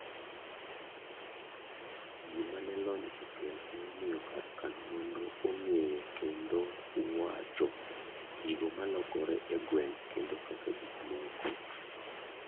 gima ne lony okelo ne omiyo kar kano nonro ong'eyo kendo wacho gigo malokore e gwengkendo kaka gik moko